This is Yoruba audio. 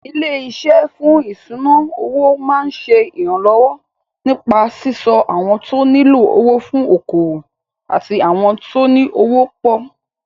Ilé-iṣé fún ìṣúnà-owó máa ṣe ìrànlọ́wọ́ nípa síso àwọn tó nílò owó fún okòwò àti àwọn tóní owó pọ̀.